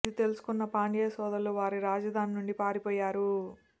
ఇది తెలుసుకున్న పాండ్య సోదరులు వారి రాజధాని నుండి పారిపోయారు